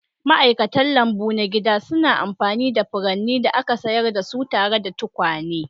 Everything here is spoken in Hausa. Ma'aikatan lambu na gida suna amfani da furannin da aka shayar da su tare da tukwane.